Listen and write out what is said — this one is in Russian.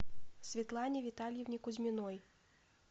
светлане витальевне кузьминой